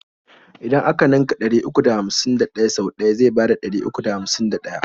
idan a ka ninka ɗari uku da hamsin da ɗaya sau ɗaya zai bada ɗari uku da hamsin da ɗaya.